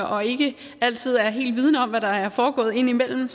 og ikke altid er helt vidende om hvad der er foregået indimellem